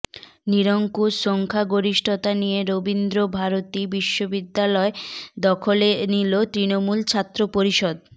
নিরঙ্কুশ সংখ্যাগরিষ্ঠতা নিয়ে রবিন্দ্রভারতী বিশ্ববিদ্যালয় দখলে নিল তৃণমূল ছাত্র পরিষদ